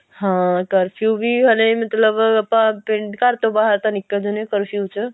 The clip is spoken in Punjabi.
ਹਾਂ ਕਰਫਿਊ ਵੀ ਹਲੇ ਮਤਲਬ ਆਪਾਂ ਪਿੰਡ ਘਰ ਤੋਂ ਬਾਹਰ ਤਾਂ ਨਿੱਕਲ ਜਾਨੇ ਆ ਕਰਫਿਊ ਚ